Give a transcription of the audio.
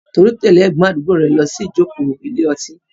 Tolu tẹ̀lé ẹ̀gbọ́n àdúgbò rẹ̀ lọ sí ìjókòó ilé ọtí.